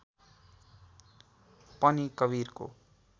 पनि कवीरको